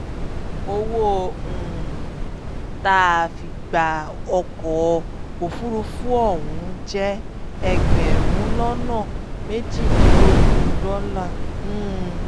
owó um tá a fi gba ọkọ̀ òfúrufú ọ̀hún jẹ́ ẹgbẹ̀rún lọ́nà méjìdínlógún dọ́là um